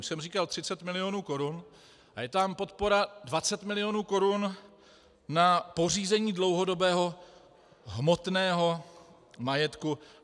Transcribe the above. Už jsem říkal 30 milionů korun a je tam podpora 20 milionů korun na pořízení dlouhodobého hmotného majetku.